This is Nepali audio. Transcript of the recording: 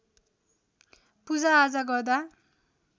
पूजाआजा गर्दा